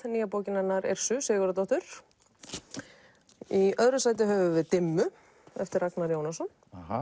nýja bókin hennar Sigurðardóttur í öðru sæti höfum við dimmu eftir Ragnar Jónasson